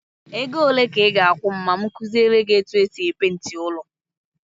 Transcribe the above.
Ego ole ka ị ga-akwụ m ma m kuziele gị etu e si peenti ụlọ?